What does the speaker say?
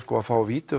að fá